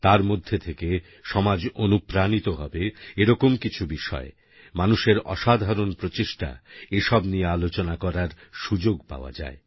তার মধ্যে থেকেসমাজ অনুপ্রাণিত হবে এরকম কিছু বিষয় মানুষের অসাধারন প্রচেষ্টা নিয়ে আলোচনা করার সুযোগ পাওয়া যায়